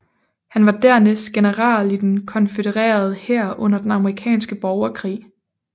Han var dernæst general i den konfødererede hær under den amerikanske borgerkrig